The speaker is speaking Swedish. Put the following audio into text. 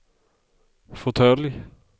fåtölj